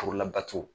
Furu labato